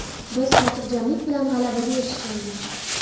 Biz xotirjamlik bilan g‘alabaga erishgandik.